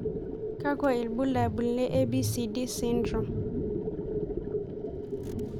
Kakwa ibulabul le ABCD syndrome?